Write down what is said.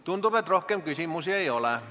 Tundub, et rohkem küsimusi ei ole.